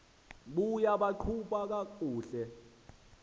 buye baqhuba kakuhle